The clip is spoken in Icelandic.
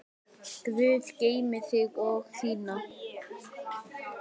Guð geymi þig og þína.